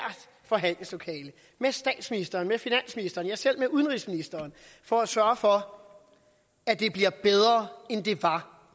forhandlingslokale med statsministeren med finansministeren ja selv med udenrigsministeren for at sørge for at det er bedre end det var